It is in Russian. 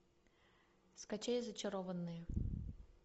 скачай зачарованные